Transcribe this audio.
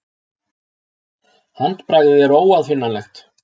Handbragðið er óaðfinnanlegt.